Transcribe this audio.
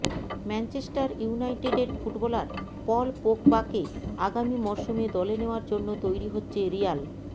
Manchester ইউনাইটেডের footballer Paul পোগবাকে আগামী মরসুমে দলে নেওয়ার জন্য তৈরি হচ্ছে রিয়াল